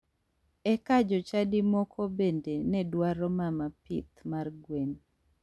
Eka jochadi moko bende ne dwaro mama pith mar gwen.